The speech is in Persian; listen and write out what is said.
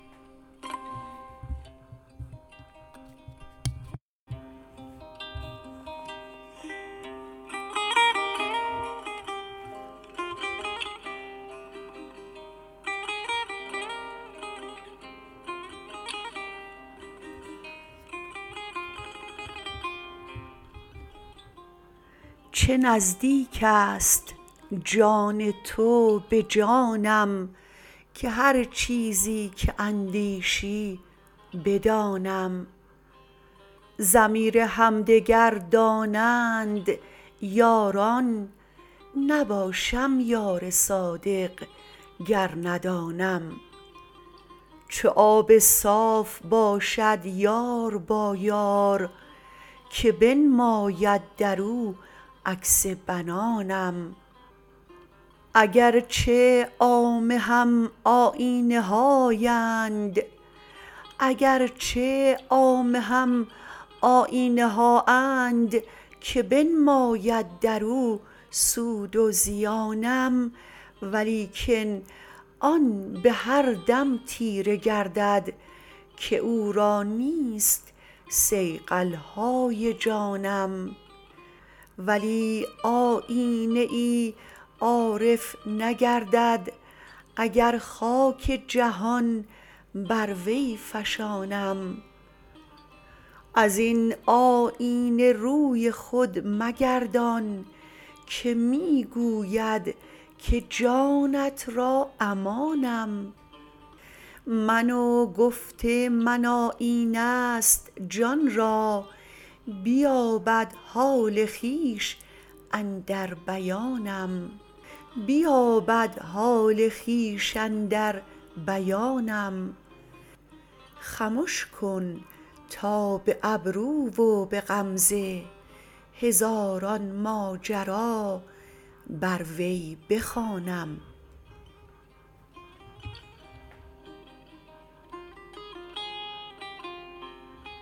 چه نزدیک است جان تو به جانم که هر چیزی که اندیشی بدانم ضمیر همدگر دانند یاران نباشم یار صادق گر ندانم چو آب صاف باشد یار با یار که بنماید در او عکس بنانم اگر چه عامه هم آیینه هااند که بنماید در او سود و زیانم ولیکن آن به هر دم تیره گردد که او را نیست صیقل های جانم ولی آیینه ای عارف نگردد اگر خاک جهان بر وی فشانم از این آیینه روی خود مگردان که می گوید که جانت را امانم من و گفت من آیینه ست جان را بیابد حال خویش اندر بیانم خمش کن تا به ابرو و به غمزه هزاران ماجرا بر وی بخوانم